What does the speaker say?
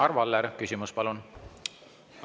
Arvo Aller, küsimus palun!